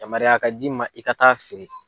Yamaruya ka d'i ma i ka taa feere.